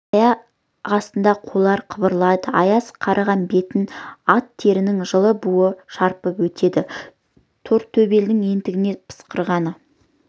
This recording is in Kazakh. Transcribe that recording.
аяқ астында қойлар қыбырлайды аяз қарыған бетін ат терінің жылы буы шарпып өтеді тортөбелдің ентіге пысқырғаны